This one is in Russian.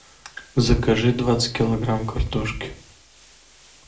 закажи двадцать килограмм картошки